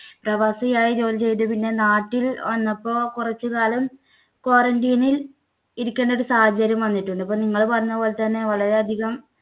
പ്രവാസിയായി ജോലി ചെയ്ത് പിന്നെ നാട്ടിൽ വന്നപ്പോ കുറച്ചുകാലം quarantine ല്‍ ഇരിക്കേണ്ട ഒരു സാഹചര്യം വന്നിട്ടുണ്ട്. അപ്പൊ നിങ്ങൾ പറഞ്ഞ പോലെ തന്നെ വളരെയധികം